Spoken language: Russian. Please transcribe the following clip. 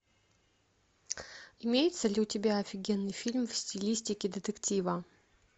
имеется ли у тебя офигенный фильм в стилистике детектива